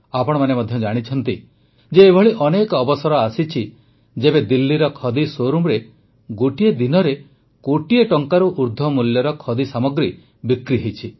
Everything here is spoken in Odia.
ଆପଣମାନେ ମଧ୍ୟ ଜାଣିଛନ୍ତି ଯେ ଏଭଳି ଅନେକ ଅବସର ଆସିଛି ଯେବେ ଦିଲ୍ଲୀର ଖଦି ଶୋରୁମରେ ଗୋଟିଏ ଦିନରେ କୋଟିଏ ଟଙ୍କାରୁ ଅଧିକ ମୂଲ୍ୟର ଖଦି ସାମଗ୍ରୀ ବିକ୍ରି ହୋଇଛି